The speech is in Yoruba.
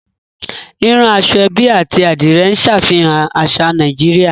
Rírán aṣọ-ẹ́bí àti Adìrẹ̀ ń ṣàfihàn àṣà Nàìjíríà